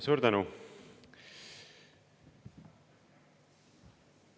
Suur tänu!